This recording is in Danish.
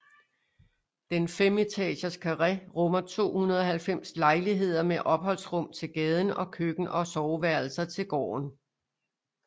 Den femetages karré rummer 290 lejligheder med opholdsrum til gaden og køkken og soveværelser til gården